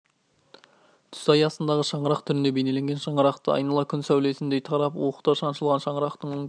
түс аясындағы шаңырақ түрінде бейнеленген шаңырақты айнала күн сәулесіндей тарап уықтар шаншылған шаңырақтың оң жағы